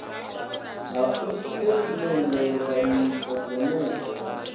ha u themendela nyito dzenedzo